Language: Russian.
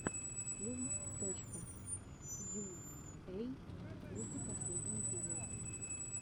филм точка йуэй групп последний эпизод